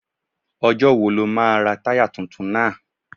Ọjọ́ wo lo máa ra táyà tuntun náà?